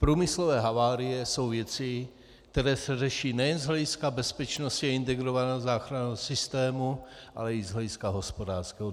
Průmyslové havárie jsou věci, které se řeší nejen z hlediska bezpečnosti a integrovaného záchranného systému, ale i z hlediska hospodářského.